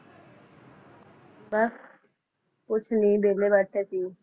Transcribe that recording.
ਬੱਸ ਕੁਝ ਨਹੀਂ ਵਿਹਲੇ ਬੈਠੇ ਸੀ